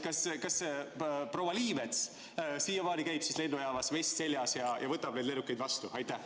Kas proua Liimets siiamaani käib lennujaamas, vest seljas, ja võtab neid lennukeid vastu?